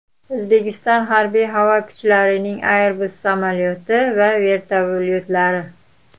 O‘zbekiston harbiy havo kuchlarining Airbus samolyoti va vertolyotlari.